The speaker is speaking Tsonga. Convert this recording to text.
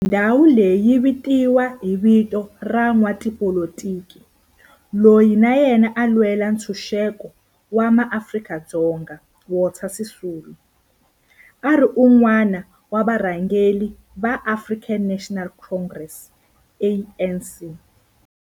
Ndhawo leyi yi vitaniwa hi vito ra n'watipolitiki loyi na yena a lwela ntshuxeko wa maAfrika-Dzonga Walter Sisulu, a ri wun'wana wa varhangeri va African National Congress, ANC.